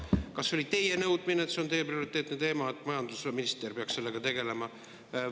Kas see oli teie nõudmine, et see on teie prioriteetne teema ja majandusminister peaks sellega tegelema?